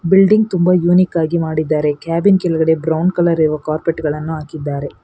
Building ತುಂಬಾ unique ಆಗಿ ಮಾಡಿದ್ದಾರೆ ಕ್ಯಾಬಿನ್ ಕೆಳಗಡೆ ಬ್ರೌನ್ ಕಲರ್ ಇರುವ ಕಾರ್ಪೆಟ್ ಗಳನ್ನು ಹಾಕಿದ್ದಾರೆ.